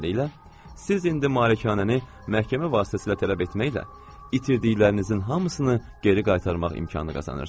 Beləliklə, siz indi malikanəni məhkəmə vasitəsilə tələb etməklə itirdiklərinizin hamısını geri qaytarmaq imkanı qazanırsınız.